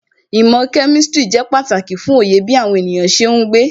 Īmò kemistri ṣe pàtàkì fún Oyè bí àwọn ènìyàn ṣe ń gbé.